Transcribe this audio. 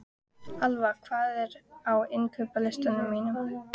Alfa, hvað er á innkaupalistanum mínum?